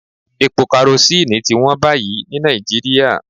Epo kerosíìnì ti wón báyìí ní Nàìjíríà